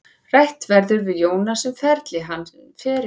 Rætt verður við Jónas um feril hans, sumarið hjá Keflavík og framhaldið.